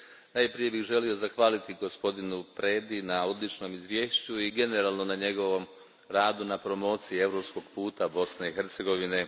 Najprije bih želio zahvaliti gospodinu Predi na odličnom izvješću i generalno na njegovom radu na promociji europskog puta Bosne i Hercegovine.